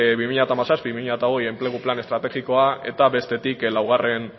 bi mila hamazazpi bi mila hogei enplegu plan estrategikoa eta bestetik laugarren